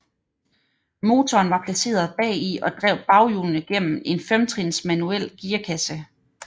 Motoren var placeret bagi og drev baghjulene gennem en femtrins manuel gearkasse